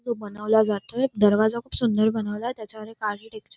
तो बनवला जातोय दरवाजा खूप सुंदर बनवलाय त्याच्यावर एक आर्किटेक्चर --